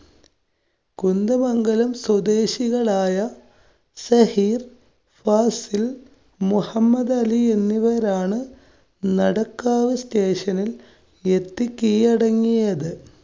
കുന്ദമംഗലം സ്വദേശികളായ ഷഹീര്‍, ഫാസില്‍, മുഹമ്മദാലി എന്നിവരാണ് നടക്കാവ് station നില്‍ എത്തി കീഴടങ്ങിയത്.